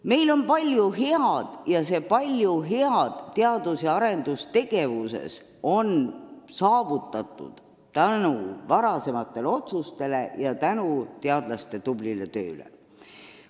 Meil on palju head ja see palju head teadus- ja arendustegevuses on saavutatud tänu varasematele otsustele ja tänu teadlaste tublile tööle.